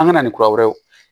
An ka na ni kura wɛrɛ ye